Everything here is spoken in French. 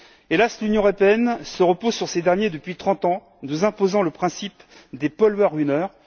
Hélas, l'Union européenne se repose sur ces derniers depuis trente ans, nous imposant le principe des pollueurs ruineurs.